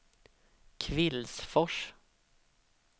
Kvillsfors